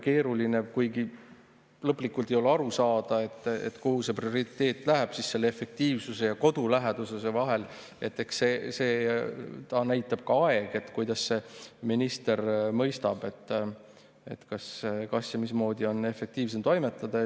Kuigi lõplikult ei ole aru saada, kuhu see prioriteet läheb siis selle efektiivsuse ja koduläheduse vahel, aga eks seda näitab ka aeg, kuidas minister mõistab, mismoodi on efektiivsem toimetada.